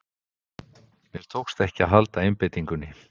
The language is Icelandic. Mér tókst ekki að halda einbeitingunni.